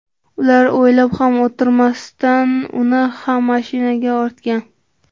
Ular o‘ylab ham o‘tirmasdan uni ham mashinaga ortgan.